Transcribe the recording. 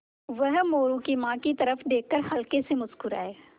वह मोरू की माँ की तरफ़ देख कर हल्के से मुस्कराये